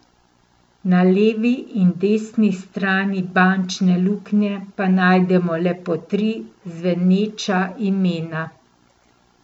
Na levi in desni strani bančne luknje pa najdemo le po tri zveneča imena.